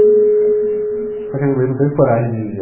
Só que a minha mãe não teve coragem de vê-lo